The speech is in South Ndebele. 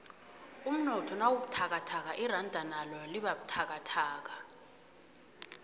umnotho nawubuthakathaka iranda nalo libabuthakathaka